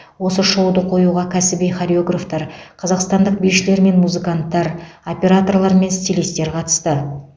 осы шоуды қоюға кәсіби хореографтар қазақстандық бишілер мен музыканттар операторлар мен стилистер қатысты